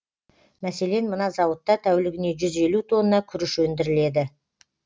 мәселен мына зауытта тәулігіне жүз елу тонна күріш өндіріледі